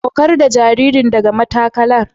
Saukar da jaririn daga matakalar.